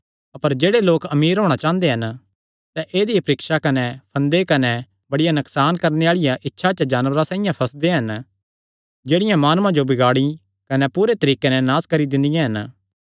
अपर जेह्ड़े लोक अमीर होणा चांह़दे हन सैह़ ऐदई परीक्षा कने फंदे कने बड़ियां नकसान करणे आल़िआं इच्छां च जानवरां साइआं फंसदे हन जेह्ड़ियां माणुआं जो बिगाड़ी कने पूरे तरीके नैं नास करी दिंदियां हन